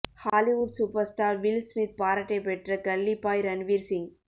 Hollywood super star Will Smith பாராட்டை பெற்ற கல்லி பாய் ரன்வீர் சிங்